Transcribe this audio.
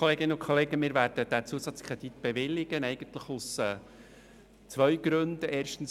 Wir werden diesen Zusatzkredit – eigentlich aus zwei Gründen – bewilligen: